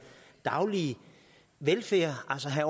daglige velfærd altså have